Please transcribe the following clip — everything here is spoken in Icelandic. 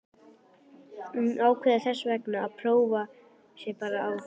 Hún ákveður þessvegna að prófa sig bara áfram.